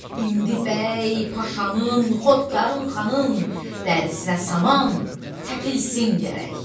İndi bəy, paşanın, xodkarın, xanın dərisinə saman təpilsin gərək.